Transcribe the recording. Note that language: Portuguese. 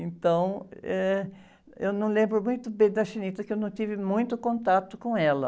Então, eh, eu não lembro muito bem da, porque eu não tive muito contato com ela.